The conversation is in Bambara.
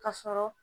Ka sɔrɔ